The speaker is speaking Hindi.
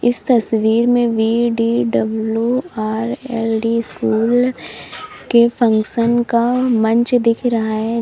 तस्वीर में बी_डी_डब्लू_आर_एल_डी स्कूल के फंक्शन का मंच दिख रहा है।